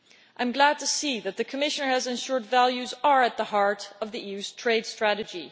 I am glad to see that the Commission has ensured values are at the heart of the EU's trade strategy.